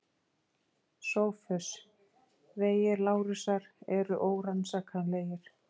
SOPHUS: Vegir Lárusar eru órannsakanlegir.